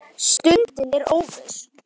Stundin er óviss.